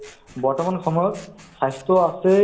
নহয় জানো চৰকাৰে কিন্তু ভাল পদক্ষেপ লৈছে কিন্তু